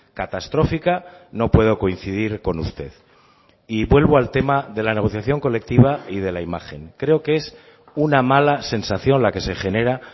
catastrófica no puedo coincidir con usted y vuelvo al tema de la negociación colectiva y de la imagen creo que es una mala sensación la que se genera